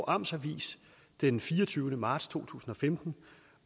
amts avis den fireogtyvende marts to tusind og femten